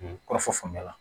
Kɔrɔfɔ faamuya la